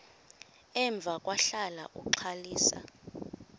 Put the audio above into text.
emva kwahlala uxalisa